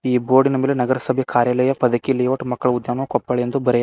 ಈ ಬೋರ್ಡಿನ ನಗರಸಭೆ ಕಾರ್ಯಾಲಯ ಪದಕಿ ಲೇಔಟ್ ಮಕ್ಕಳ ಉದ್ಯಾನವನ ಕೊಪ್ಪಳ ಎಂದು ಬರೆಯ--